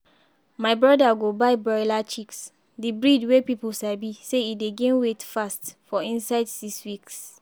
my brother go buy broiler chicks—di breed wey people sabi say e dey gain weight fast for inside six weeks.